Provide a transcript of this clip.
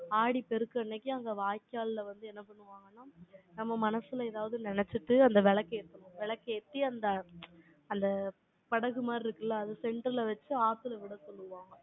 ஆடிப்பெருக்கு அன்னைக்கு, அங்கே வாய்க்கால்ல வந்து, என்ன பண்ணுவாங்கன்னா, நம்ம மனசுல, ஏதாவது நினைச்சுட்டு, அந்த விளக்கு ஏத்தணும். விளக்கேத்தி, அந்த அந்த படகு மாதிரி இருக்குல்ல, அதை center ல வச்சு, ஆத்தில விட சொல்லுவாங்க.